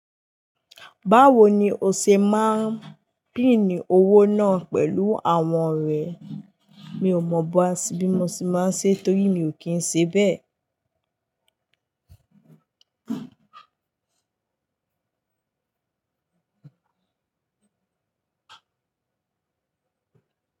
Báwo ni o ṣe máa ń pín owó náà pẹ̀lú àwọn ọ̀rẹ́? Mi ò mọ̀ bó á sì bí mo ṣe máa ń ṣe torí mi ò kí ń ṣe bẹ́ẹ̀.